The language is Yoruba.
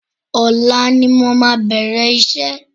Ọ̀la ni mo máa bẹ̀rẹ̀ iṣẹ́